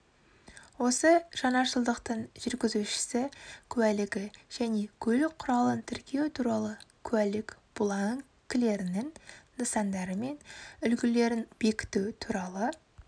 осы жаңашылдықтың жүргізуші куәлігі және көлік құралын тіркеу туралы куәлік бланкілерінің нысандары мен үлгілерін бекіту туралы